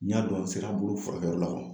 N y'a dɔn n sera bolo furakɛyɔrɔ la.